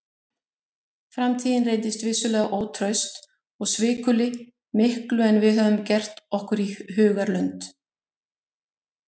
Framtíðin reyndist vissulega ótraust og svikulli miklu en við höfðum gert okkur í hugarlund.